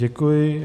Děkuji.